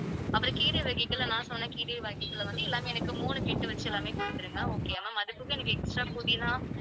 அப்புறம் கீரை வகைகள்ல, நான் சொன்ன கீரை வகைகள்ல வந்து எல்லாமே எனக்கு மூணு கட்டு வச்சு எல்லாமே குடுத்திருங்க. okay யா ma'am. அதுபோக எனக்கு extra புதினா